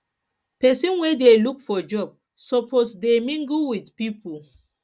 pesin wey dey look for job suppose dey mingle with pipo